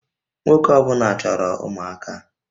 Nwoke ọ bụla chọrọ ụmụaka